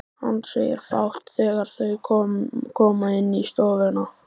Hann segir fátt þegar þau koma inn í stofuna.